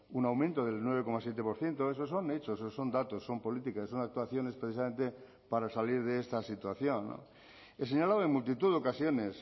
un aumento del nueve coma siete por ciento esos son hechos son datos son políticas son actuaciones precisamente para salir de esta situación he señalado en multitud de ocasiones